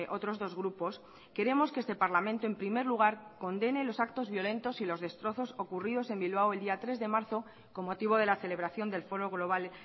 otros dos grupos queremos que este parlamento en primer lugar condene los actos violentos y los destrozos ocurridos en bilbao el día tres de marzo con motivo de la celebración del foro global